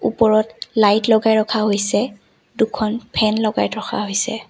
ওপৰত লাইট লগাই ৰখা হৈছে দুখন ফেন লগাই ৰখা হৈছে।